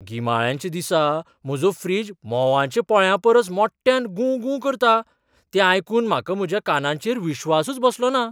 गिमाळ्याच्या दिसा म्हजो फ्रीज म्होंवांच्या पोळ्यापरस मोट्यान गूं गूं करता तें आयकून म्हाका म्हज्या कानांचेर विश्वासच बसलोना!